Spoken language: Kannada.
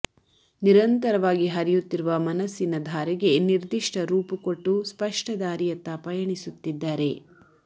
ನಿರಂತರವಾಗಿ ಹರಿಯುತ್ತಿರುವ ಮನಸ್ಸಿನ ಧಾರೆಗೆ ನಿರ್ದಿಷ್ಟ ರೂಪು ಕೊಟ್ಟು ಸ್ವಷ್ಟ ದಾರಿಯತ್ತ ಪಯಣಿಸುತ್ತಿದ್ದಾರೆ